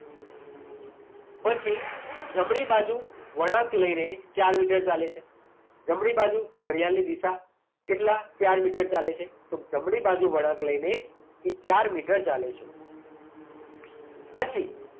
પછી જમણી બાજુ વળાંક લઈને ચાર મીટર ચાલે છે. જમણી બાજુ, ઘડિયાળની દિશા. કેટલા? ચાર મીટર ચાલે છે. તો જમણી બાજુ વળાંક લઈને એ ચાર મીટર ચાલે છે. પછી